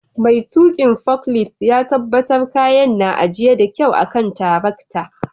Mai tukin foklift ya tabatar kayan na ajie da kyau a'kan tiraktan.